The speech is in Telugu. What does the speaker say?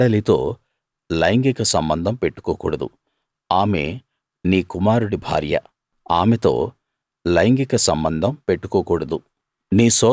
నీ కోడలితో లైంగిక సంబంధం పెట్టుకోకూడదు ఆమె నీ కుమారుడి భార్య ఆమెతో లైంగిక సంబంధం పెట్టుకోకూడదు